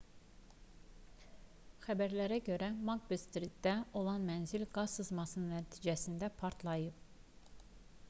xəbərlərə görə makbet-stritdə olan mənzil qaz sızması nəticəsində partlayıb